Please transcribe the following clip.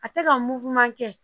A tɛ ka kɛ